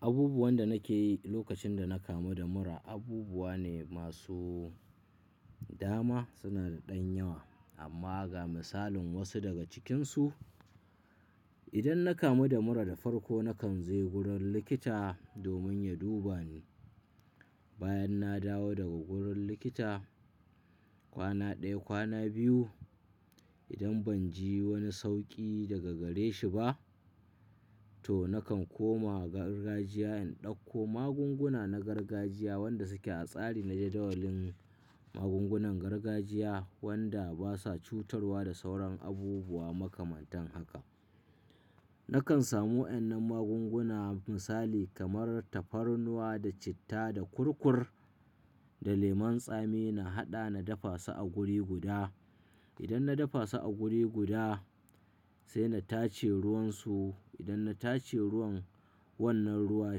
Abubuwan da nake yi lokacin da na kamu da mura abubuwa ne masu dama, suna da ɗan yawa amma ga misalin wasu daga cikinsu. Idan na kamu da mura da farko nakan je wurin likita domin ya duba ni. Bayan na dawo daga wurin likita kwana ɗaya, kwana biyu idan ban ji wani sauƙi daga gare shi ba to nakan koma gargajiya in ɗauko magunguna na gargajiya wanda suke a tsari na jadawalin magungunan gargajiya wanda basa cutarwa da sauran abubuwa makamantan haka. Nakan samu wannan magunguna misali kamar tafarnuwa da citta da kurkur da lemon tsami na haɗa na dafa su a guri guda. Idan na dafa su a guri guda sai na tace ruwan su. Idan na tace ruwan wannan ruwa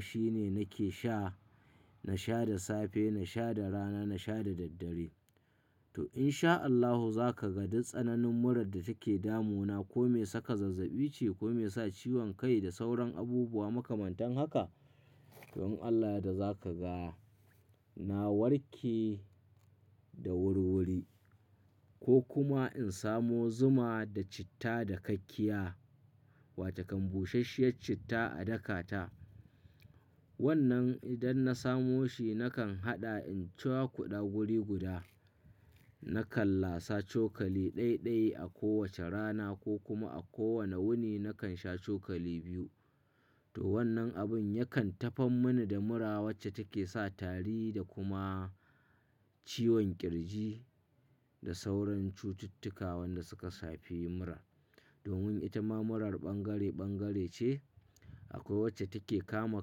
shine nake sha. Na sha da safe, na sha da rana, na sha da daddare. To in sha Allahu za ka ga duk tsananin murar da take damu na ko mai saka zazzabi ce ko mai sa ciwon kai da sauran abubuwa makamantan haka. Don Allah da za ka ga na warke da wuriwuri. Ko kuma in samo zuma da citta da kakkiya wata kambusashiya citta a daka ta. Wannan idan na samo shi nakan haɗa in cewa kuɗa guri guda. Nakan lasa cokali ɗai-ɗai a kowace rana ko kuma a kowane wuni nakan sha cokali biyu. To wannan abin yakan tafan mini da mura wacce take sa tari da kuma ciwon ƙirji da sauran cututtuka wanda suka safe mura. Domin ita ma murar bangare-bangare ce akwai wacce take kama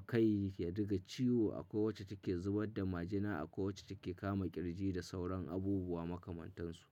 kai ya diga ciwo, akwai wacce take zubar da majina, akwai wacce take kama ƙirji da sauran abubuwa makamantansu.